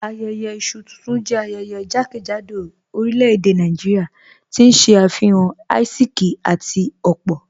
Ayẹyẹ isu tuntun jẹ ayẹyẹ jàkẹ́jádò orílẹ̀-èdè Nàìjíríà, tí n ṣe afihan àìsíkì àti opo